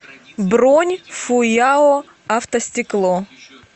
бронь фуяо автостекло